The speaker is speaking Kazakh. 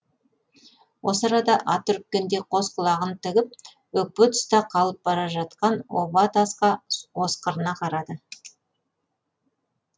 осы арада ат үріккендей қос құлағын тігіп өкпе тұста қалып бара жатқан оба тасқа осқырына қарады